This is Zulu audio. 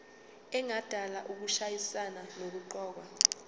engadala ukushayisana nokuqokwa